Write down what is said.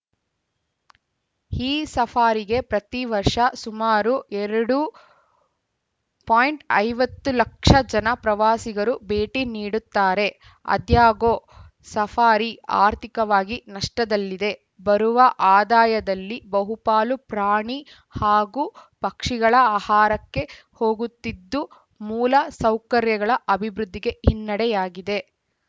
ಈ ಸಫಾರಿಗೆ ಪ್ರತಿ ವರ್ಷ ಸುಮಾರು ಎರಡು ಪಾಯಿಂಟ್ ಐವತ್ತು ಲಕ್ಷ ಜನ ಪ್ರವಾಸಿಗರು ಭೇಟಿ ನೀಡುತ್ತಾರೆ ಆದಾಗ್ಯೂ ಸಫಾರಿ ಆರ್ಥಿಕವಾಗಿ ನಷ್ಟದಲ್ಲಿದೆ ಬರುವ ಆದಾಯದಲ್ಲಿ ಬಹುಪಾಲು ಪ್ರಾಣಿ ಹಾಗೂ ಪಕ್ಷಿಗಳ ಆಹಾರಕ್ಕೆ ಹೋಗುತ್ತಿದ್ದು ಮೂಲ ಸೌಕರ್ಯಗಳ ಅಭಿವೃದ್ಧಿಗೆ ಹಿನ್ನೆಡೆಯಾಗಿದೆ